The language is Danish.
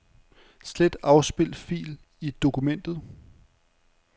Slet afspil fil i dokumentet.